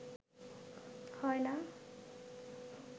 হয় না